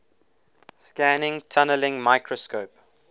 scanning tunneling microscope